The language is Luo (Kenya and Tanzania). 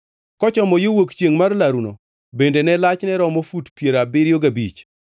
Kochomo yo wuok chiengʼ mar laruno bende lachne ne romo fut piero abiriyo gabich.